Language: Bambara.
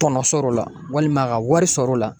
Tɔnɔ sɔr'o la walima ka wari sɔr'o la